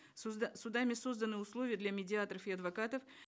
судами созданы условия для медиаторов и адвокатов